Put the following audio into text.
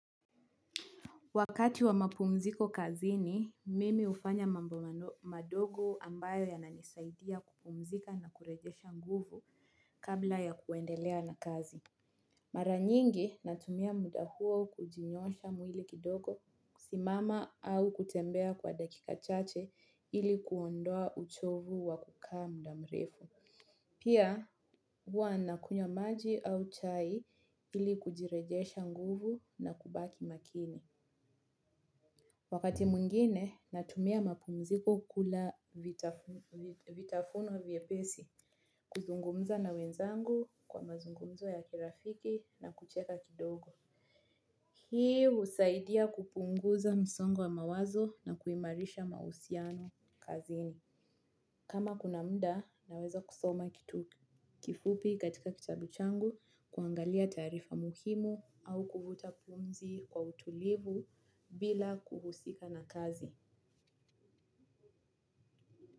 Wakati wa mapumziko kazini, mimi ufanya mambo madogo ambayo ya nanisaidia kupumzika na kurejesha nguvu kabla ya kuendelea na kazi. Maranyingi natumia muda huo kujinyosha mwili kidogo, simama au kutembea kwa dakika chache ili kuondoa uchovu wa kukaa mudamrefu. Pia huwa na kunywa maji au chai ili kujirejesha nguvu na kubaki makini. Wakati mungine, natumia mapumziko kula vitafuno vye pesi, kuzungumza na wenzangu kwa mazungumzo ya kirafiki na kucheka kidogo. Hii husaidia kupunguza msongo wa mawazo na kuimarisha mahusiano kazini. Kama kuna mda, naweza kusoma kitu kifupi katika kitabuchangu kuangalia tarifa muhimu au kuvuta pumzi kwa utulivu bila kuhusika na kazi.